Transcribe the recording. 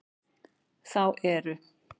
Þá eru